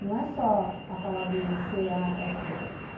Não é só a palavrinha C-A-F-E.